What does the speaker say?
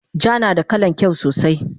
Ja nada kalan kyau sosai